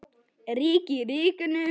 Ríki í ríkinu?